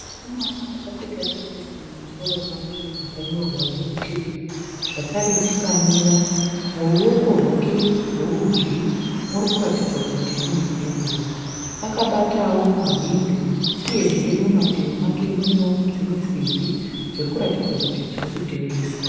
Mukomana akapfeka kepisi mumusoro make yakanyorwa nezvitsvuku zvakare akamira. Muruoko rwake rworudyi muri kuratidza kuti mune bhenguro. Akabatawo mahwindo uyezve mumativi make munewo dzimwe simbi dziri kuratidza kuti dziri kutengeswa.